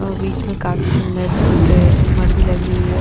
और बीच में काफी सुंदर एक झूमर भी लगी हुई है।